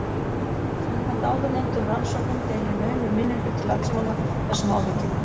Samkvæmt áðurnefndum rannsóknum deilir naumur minnihluti landsmanna þessum áhyggjum.